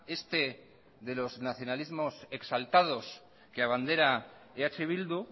este de los nacionalismos exaltados que abandera eh bildu